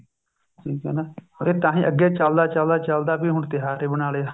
ਠੀਕ ਹੈ ਨਾ or ਇਹ ਤਾਂਹੀ ਅੱਗੇ ਚੱਲਦਾ ਚੱਲਦਾ ਚੱਲਦਾ ਹੁਣ ਤਿਉਹਾਰ ਹੀ ਬਣਾ ਲਿਆ